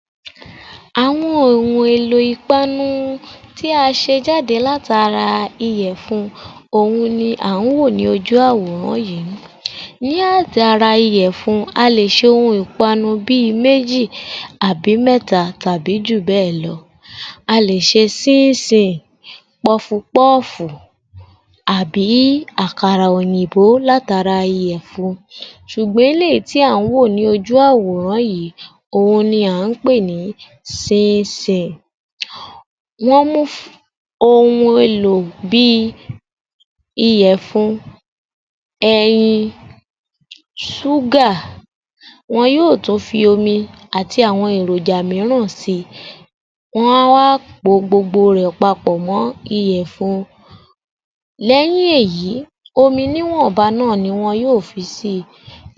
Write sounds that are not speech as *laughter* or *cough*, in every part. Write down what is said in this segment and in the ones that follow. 21_ *noise* __yoruba_yor_f_518_AG00043 Áwọn òhùn èlò ìpaanu u tí a ṣe jáde látara iyẹ̀fun òun ni à ń wò ní ojú àwòrán yìí. Ní átara iyẹ̀fun, a lè ṣẹ òun ìpaanu bí ì méjì àbí mẹ́ta tàbí jù bẹ́ẹ̀ lọ. A lè ṣe síínsìn, pọfupọ́ọ́fù àbí àkàrà òyìnbó látara iyẹ̀fun. Sùgbọ́n eléyìí tí à ń wò ní ojú àwòrán yìí òun ni à ń pè ni síínsìn. Wọ́n mú um ohun elo bí i iyẹ̀fun, ẹyin, ṣúgà, wọn yóò tún fi omi àti àwọn èròjà míràn sí i. Wọ́n á wá á po gbogbo rẹ̀ papọ̀ mọ́ iyẹ̀fun. Lẹ́yìn èyí omi níwọ̀nba náà ni wọn yóò fi sí i,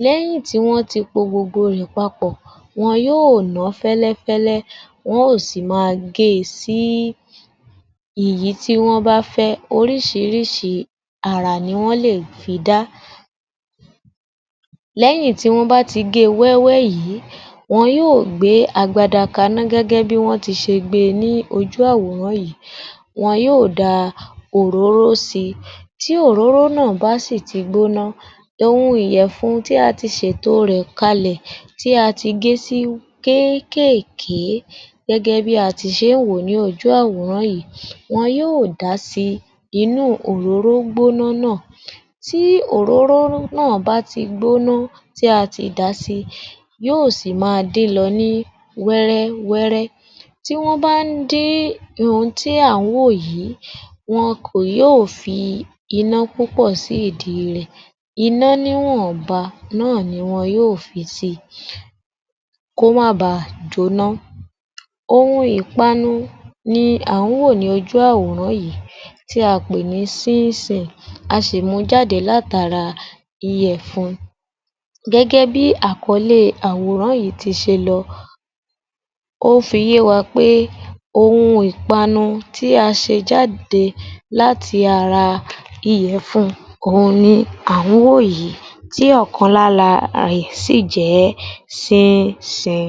lẹ́yìn tí wọ́n ti po gbogbo rẹ̀ papọ̀, wọn yóò nà á fẹ́lẹ́fẹ́lẹ́ wọ́n ò sì i máa gé e sí ìyí tí wọ́n bá fẹ́ ẹ́. Orísìíríìí àrà ni wọ́n lè fi dá. Lẹ́yìn tí wọ́n bá ti gé e wéwé yìí, wọn yóò gbé agbada kaná gẹ́gẹ́ bí wọ́n ṣe ti gbé e ní ojú àwòrán yìí. Wọn yóò da òróró sí i, tí òróró ná à bá sì ti gbóna, ohun iyẹ̀fun tí a ti ṣèto rẹ̀ kalẹ̀ tí a ti gé sí kéékèké gẹ́gẹ́ bí a ti ṣe ń wò ó ní ojú àwòrán yì. Wọn yóò da sí i, inú òróró gbóna ná à, tí òróró ná à bá ti gbóna tí a ti dà á sí i, yóò sì ì máa dín lọ ní wẹ́rẹ́wẹ́rẹ́. Tí wọ́n bá ń dín ohun tí à ń wò yìí wọn kò yó ò fi iná púpọ̀ sí ìdí rẹ̀, iná níwọ̀nba ná à ni wọn yó ò fi sí i, kó má á ba à jóná. Ohun ìpanu ni à ń wò ní ojú àwòrán yìí tí a pè ni síínsìn. A sì ì mú u jáde látara iyẹ̀fun. Gẹ́gẹ́ bí àkọlé àwòrán yì í ti se lọ, ó fi yé wa pé, ohun ìpanu tí a ṣe jáde láti ara iyẹ̀fun òun ni à ń wò yì í, tí ọ̀kan láraẹ̀ sì jẹ̀ síínsìn.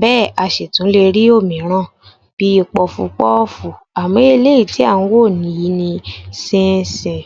Bẹ́ ẹ̀ a ṣì tún le rí òmíràn bí i pọfupọ́ọ́fù. Àmọ́ ọ́ eléyìí tí à ń wò yì í ni síínsìn.